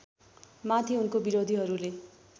माथि उनको विरोधीहरूले